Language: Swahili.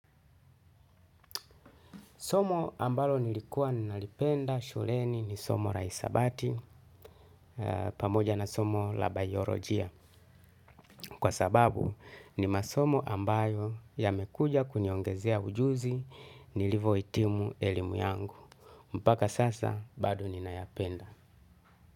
Somo ambalo nilikuwa nalipenda shuleni ni somo la hesabati pamoja na somo la bayolojia. Kwa sababu ni masomo ambayo yamekuja kuniongezea ujuzi nilivo hitimu elimu yangu. Mpaka sasa bado ninayapenda.